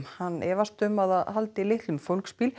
hann efast um að það haldi litlum fólksbíl